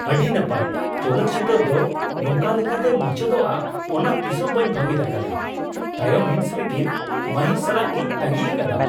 ᱟᱹᱰᱤ ᱱᱟᱯᱟᱭ! ᱪᱚᱞᱚᱛ ᱪᱤᱛᱟᱹᱨ ᱫᱚ ᱱᱚᱝᱠᱟ ᱞᱮᱠᱟᱛᱮ ᱢᱩᱪᱟᱹᱫᱚᱜᱼᱟ ᱚᱱᱟ ᱛᱤᱥᱦᱚᱸ ᱵᱟᱹᱧ ᱵᱷᱟᱹᱵᱤᱛ ᱟᱠᱟᱫᱟ ᱾ ᱛᱟᱭᱚᱢ ᱦᱤᱸᱥ ᱞᱟᱹᱜᱤᱫ ᱢᱟᱹᱦᱤᱨ ᱥᱟᱞᱟᱜᱤᱧ ᱛᱟᱹᱜᱤ ᱟᱠᱟᱫᱟ ᱾